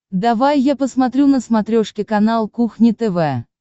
давай я посмотрю на смотрешке канал кухня тв